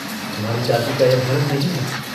हमारी जाति का यह धर्म नहीं है।